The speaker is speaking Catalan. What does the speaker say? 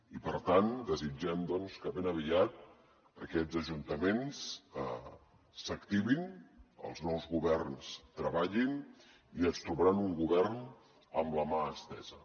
i per tant desitgem doncs que ben aviat aquests ajuntaments s’activin els nous governs treballin i es trobaran un govern amb la mà estesa